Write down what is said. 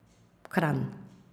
Kranj.